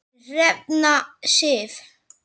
Þín Hrefna Sif.